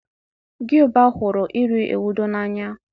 gịụba hụrụ iri ewedu n'anya